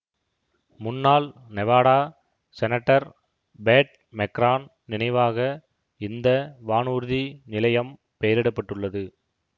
முன்னாள் Nevada senator Pat McCarran நினைவாக இந்த வானூர்தி நிலையம் பெயரிட பட்டுள்ளது